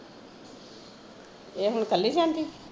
ਇਹ ਹੁਣ ਕੱਲੀ ਜਾਂਦੀ?